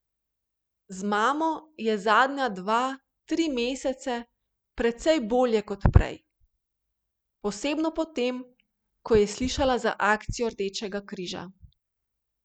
Z mamo je zadnja dva, tri mesece precej bolje kot prej, posebno po tem, ko je slišala za akcijo Rdečega križa.